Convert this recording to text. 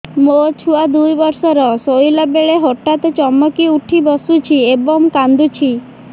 ମୋ ଛୁଆ ଦୁଇ ବର୍ଷର ଶୋଇଲା ବେଳେ ହଠାତ୍ ଚମକି ଉଠି ବସୁଛି ଏବଂ କାଂଦୁଛି